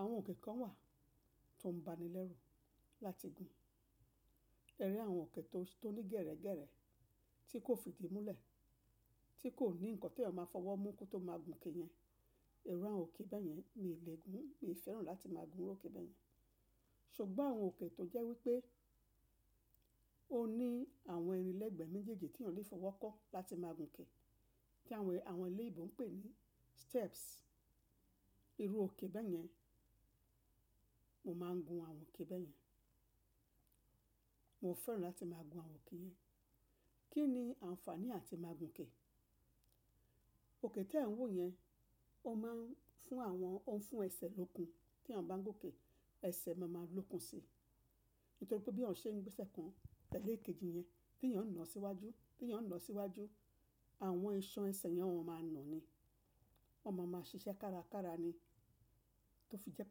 Àwọn òkè kan wà tó ń ba ni lẹ́rù láti gun. Ẹ rí àwọn òkè tó ní gẹ̀rẹ̀ gẹ̀rẹ̀ tí kò fìdí múlẹ̀, tí kò ní nǹkan tí eeyan máa fọwọ́ mú kí ó tó máa gun ke yẹn. Irú àwọn òkè bẹ́yẹn mi ò lè gùn, mi ò fẹ́ràn láti máa gun òkè bẹ́yẹn. Ṣùgbọ́n àwọn òkè tó jẹ́ wípé ó ní àwọn ìrìn lẹ́gbẹ̀ẹ́ méjèèjì tí eeyan lè fọwọ́ kọ́ láti máa gun ke, tí àwọn èlé ìbò ń pè ní steps. Irú òkè bẹ́yẹn, mo máa ń gun àwọn òkè bẹ́yẹn. Mo fẹ́ràn láti máa gun àwọn òkè yẹn. Kí ni àǹfààní àti máa gun ke? Òkè tí ẹ̀ ń wo yẹn, ó máa ń fún àwọn, ó ń fún ẹsẹ̀ lókun tí a bá ń gun ke, ẹsẹ̀ má máa lókun si. Nítorí pé bí eeyan ṣe ń gbé ẹsẹ̀ kan tẹ́lẹ̀ kejì yẹn, tí eeyàn ńa síwájú, tí eeyàn ńa síwájú, àwọn iṣhan ẹsẹ̀ yẹn wọ́n máa ń nà ni. Wọ́n máa ń ṣiṣẹ́ kárakára ni. Tí ó fi jẹ́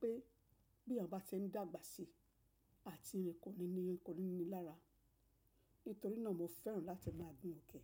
pé bí eeyan bá ti ń dàgbà sí, àti rìn kò ní ní, kò ní ní lára. Nítorí náà mo fẹ́ràn láti máa gun òkè.